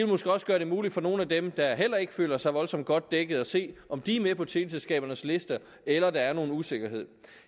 måske også gøre det muligt for nogle af dem der heller ikke føler sig voldsomt godt dækket at se om de er med på teleselskabernes lister eller der er nogen usikkerhed